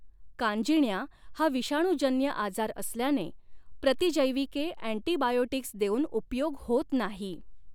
कांजिण्या हा विषाणूजन्य आजार असल्याने प्रतिजैविके अँटीटिबायोटिक्स देऊन उपयोग होत नाही.